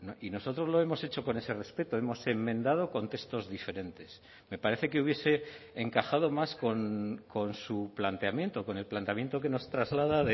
y nosotros lo hemos hecho con ese respeto hemos enmendado con textos diferentes me parece que hubiese encajado más con su planteamiento con el planteamiento que nos traslada